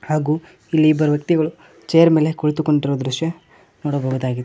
ಹಾಗೂ ಇಲ್ಲಿ ಇಬ್ಬರು ವ್ಯಕ್ತಿಗಳು ಚೇರ್ ಮೇಲೆ ಕುಳಿತುಕೊಂತಿರುವ ದೃಶ್ಯ ನೋಡಬಹುದಾಗಿದೆ.